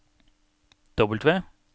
W